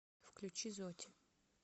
включи зоти